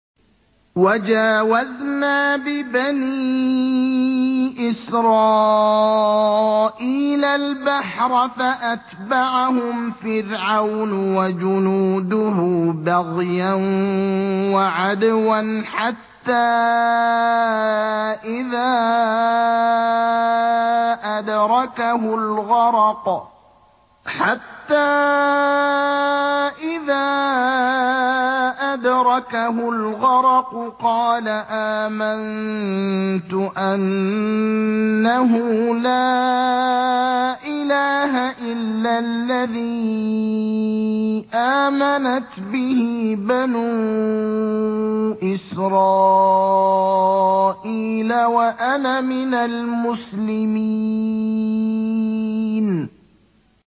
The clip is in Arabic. ۞ وَجَاوَزْنَا بِبَنِي إِسْرَائِيلَ الْبَحْرَ فَأَتْبَعَهُمْ فِرْعَوْنُ وَجُنُودُهُ بَغْيًا وَعَدْوًا ۖ حَتَّىٰ إِذَا أَدْرَكَهُ الْغَرَقُ قَالَ آمَنتُ أَنَّهُ لَا إِلَٰهَ إِلَّا الَّذِي آمَنَتْ بِهِ بَنُو إِسْرَائِيلَ وَأَنَا مِنَ الْمُسْلِمِينَ